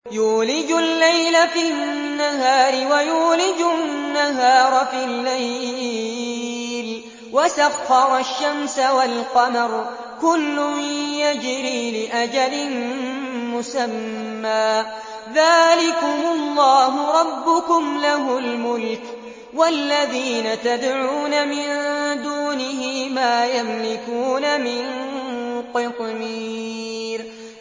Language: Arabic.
يُولِجُ اللَّيْلَ فِي النَّهَارِ وَيُولِجُ النَّهَارَ فِي اللَّيْلِ وَسَخَّرَ الشَّمْسَ وَالْقَمَرَ كُلٌّ يَجْرِي لِأَجَلٍ مُّسَمًّى ۚ ذَٰلِكُمُ اللَّهُ رَبُّكُمْ لَهُ الْمُلْكُ ۚ وَالَّذِينَ تَدْعُونَ مِن دُونِهِ مَا يَمْلِكُونَ مِن قِطْمِيرٍ